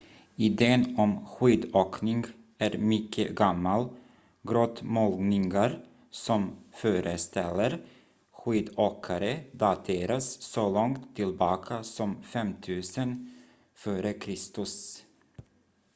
idén om skidåkning är mycket gammal grottmålningar som föreställer skidåkare dateras så långt tillbaka som 5 000 f.kr